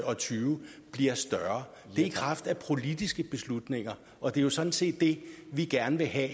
og tyve bliver større det er i kraft af politiske beslutninger og det er sådan set det vi gerne vil have